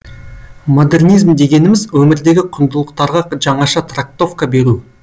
модернизм дегеніміз өмірдегі құндылықтарға жаңаша трактовка беру